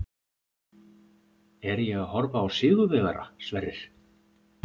Er ég að horfa á sigurvegara, Sverrir?